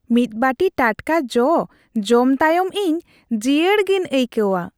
ᱢᱤᱫ ᱵᱟᱹᱴᱤ ᱴᱟᱴᱠᱟ ᱡᱚ ᱡᱚᱢ ᱛᱟᱭᱚᱢ ᱤᱧ ᱡᱤᱭᱟᱹᱲ ᱜᱤᱧ ᱟᱹᱭᱠᱟᱹᱣᱟ ᱾